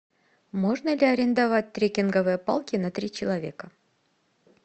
можно ли арендовать треккинговые палки на три человека